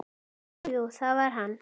Jú, jú, það var hann.